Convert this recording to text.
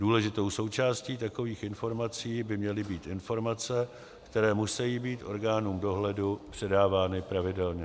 Důležitou součástí takových informací by měly být informace, které musejí být orgánům dohledu předávány pravidelně.